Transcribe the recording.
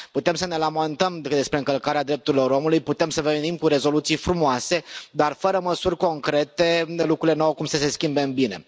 Putem să ne lamentăm despre încălcarea drepturilor omului, putem să venim cu rezoluții frumoase, dar, fără măsuri concrete, lucrurile nu au cum să se schimbe în bine.